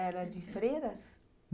Era de freiras?